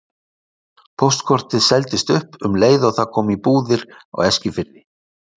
Póstkortið seldist upp um leið og það kom í búðir á Eskifirði.